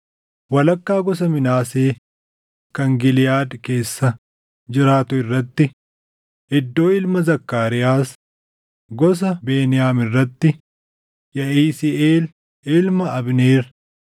walakkaa gosa Minaasee kan Giliʼaad keessa jiraatuu irratti: Iddoo ilma Zakkaariyaas; gosa Beniyaam irratti: Yaʼisiiʼel ilma Abneer;